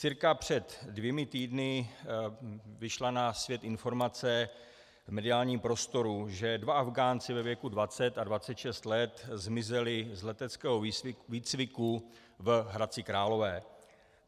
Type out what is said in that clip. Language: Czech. Cirka před dvěma týdny vyšla na svět informace v mediálním prostoru, že dva Afghánci ve věku 20 a 26 let zmizeli z leteckého výcviku v Hradci Králové.